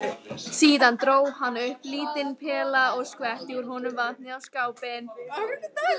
Síðan dró hann upp lítinn pela og skvetti úr honum vatni á skápinn.